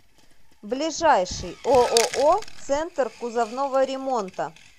ближайший ооо центр кузовного ремонта